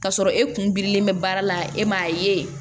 K'a sɔrɔ e kun bilen bɛ baara la e m'a ye